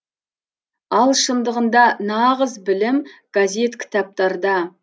ал шындығында нағыз білім газет кітаптарда